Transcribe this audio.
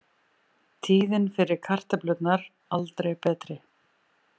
Tíðin fyrir kartöflurnar aldrei betri